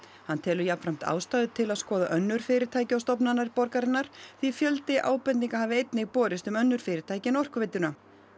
hann telur jafnframt ástæðu til að skoða önnur fyrirtæki og stofnanir borgarinnar því fjöldi ábendinga hafi einnig borist um önnur fyrirtæki en Orkuveituna